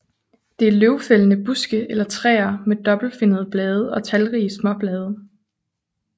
Det er løvfældende buske eller træer med dobbeltfinnede blade og talrige småblade